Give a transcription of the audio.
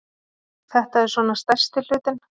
Þetta er svona stærsti hlutinn.